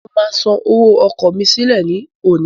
Mo máa san owó ọkọ̀ mí sílẹ̀ ní òní.